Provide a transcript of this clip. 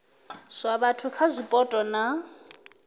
zwa vhathu kha zwipotso na